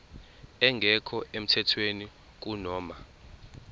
engekho emthethweni kunoma